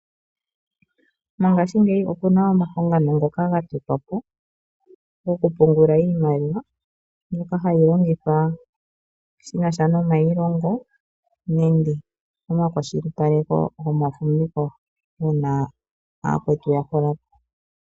Mongashiingeyi omuna omahangano ngoka ga totwa gokupungula iimaliwa mbyoka hayi longithwa shinasha nomayilongo nenge oku kwashilipaleka omafumviko uuna yakwetu yahulapo